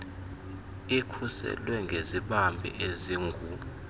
ikhuselwe ngezibambi ezingu